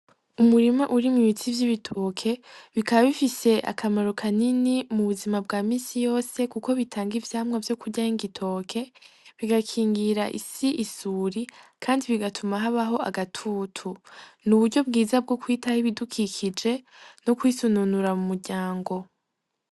Umurima uri mu'ibitsi vy'ibitoke bikabifise akamaro kanini mu buzima bwa misi yose, kuko bitanga ivyamwa vyo kurya h'igitoke bigakingira isi isuri, kandi bigatuma habaho agatutu ni uburyo bwiza bwo kwitaha ibidukikije no kwisununura mu muryango.